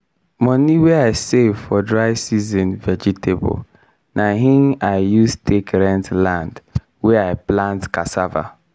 moni wey i save for dry season vegetable na hin i use take rent land wey i plant casssava.